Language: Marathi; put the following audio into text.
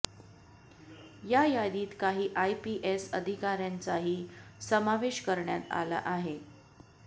या यादीत काही आयपीएस अधिकाऱ्यांचाही समावेश करण्यात आला आहे